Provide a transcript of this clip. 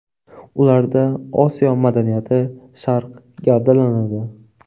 Ularda Osiyo madaniyati, Sharq gavdalanadi.